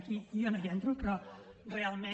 aquí jo no hi entro però realment